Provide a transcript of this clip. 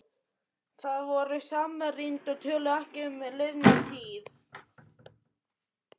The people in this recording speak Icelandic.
Þau voru samrýnd og töluðu ekki um liðna tíð.